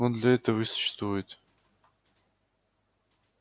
он для этого и существует